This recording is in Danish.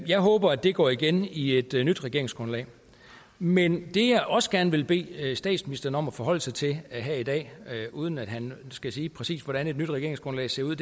jeg håber at det går igen i et nyt regeringsgrundlag men det jeg også gerne vil bede statsministeren om at forholde sig til her i dag uden at han skal sige præcis hvordan et nyt regeringsgrundlag ser ud